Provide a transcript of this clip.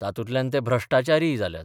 तातूंतल्यान ते भ्रश्टाचारीय जाल्यात.